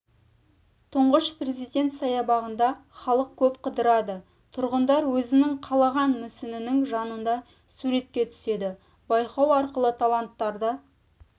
тұңғыш президент саябағында халық көп қыдырады тұрғындар өзінің қалаған мүсінінің жанында суретке түседі байқау арқылы таланттарды